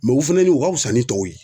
u fɛnɛ nin u ka fisa ni tɔw ye.